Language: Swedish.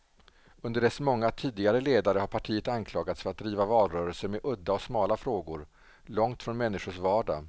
Under dess många tidigare ledare har partiet anklagats för att driva valrörelser med udda och smala frågor, långt från människors vardag.